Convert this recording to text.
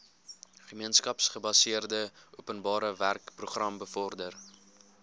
gemeenskapsgebaseerde openbarewerkeprogram bevorder